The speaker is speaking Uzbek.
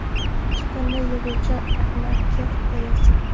Chiqindi yig‘uvchi amaki hikoyasi.